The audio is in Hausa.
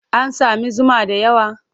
An sami zuma da yawa?